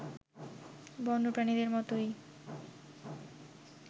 বন্যপ্রাণীদের মতোই